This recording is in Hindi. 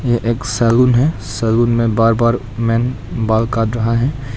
ये एक सैलून है सैलून में बार्बर मेन बाल काट रहा है।